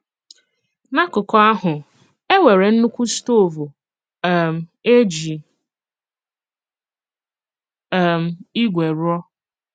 N’ákùkù ahụ, e nwéré nnukwu stóvú um e jí um ígwè rụọ.